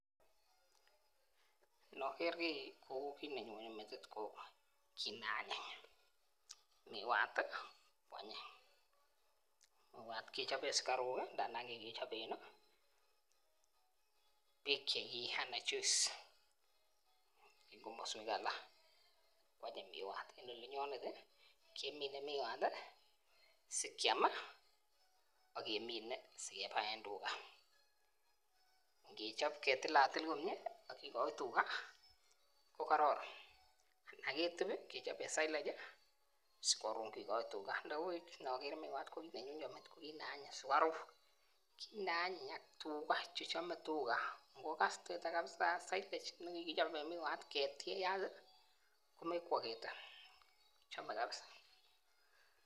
Noker kii ko kit nenyone metit ko kit ne anyiny, miwat tii kwanyin miwat kechoben sikaruk kii ngandan kikichoben kii beek chekiyee anan juice en komoswek alak kwanyin. miwat. en olinyonen tii kemine miwat tii sikyamii ak kemine sikebaen tugaa, ngechob ketilelatil komie ak kikoik tugaa ko kororon ana ketub kechoben silage sikorun kikoik tugaa, nibuvh noker miwat nenyone metit ko kit ne anyiny sukaruk kit ne anyiny tugaa chechome tugaa ngokas tugaa kabisa silage nekikichoben miwat ketiyat tii komekwoketet chome kabisa.